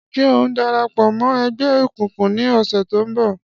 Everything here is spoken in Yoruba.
Ṣé ò ń dara pọ̀ mọ́ ẹgbẹ́ egungun ní ọ̀sẹ̀ tó ń bọ̀?